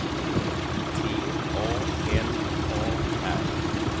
T A L A R